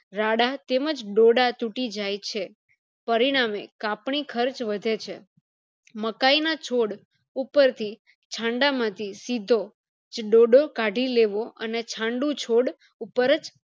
રાડા તેમજ દોડ તૂટી જાય છે પરિણામે કાપણી ખર્ચ વધે છે મકાય ના છોડ ઉપરથી માંથી સીધો જ ડોડો કાઢી લેવો અને છાંડુ છોડ ઉપરજ